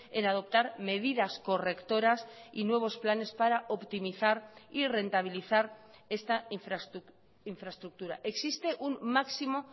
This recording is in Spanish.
en adoptar medidas correctoras y nuevos planes para optimizar y rentabilizar esta infraestructura existe un máximo